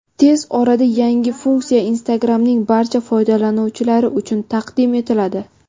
Tez orada yangi funksiya Instagram’ning barcha foydalanuvchilari uchun taqdim etiladi.